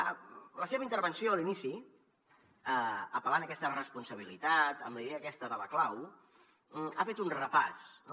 a la seva intervenció a l’inici apel·lant a aquesta responsabilitat amb la idea aquesta de la clau ha fet un repàs no